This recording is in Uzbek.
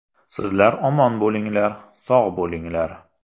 Sizlar omon bo‘linglar, sog‘ bo‘linglar.